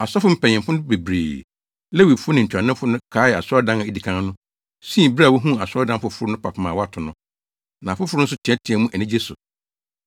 Asɔfo mpanyimfo no bebree, Lewifo ne ntuanofo no kaee asɔredan a edi kan no, sui bere a wohuu asɔredan foforo no fapem a wɔato no. Na afoforo nso teɛteɛɛ mu anigye so.